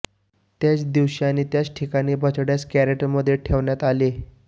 त्याच दिवशी आणि त्याच ठिकाणी बछड्यास कॅरेटमध्ये ठेवण्यात आले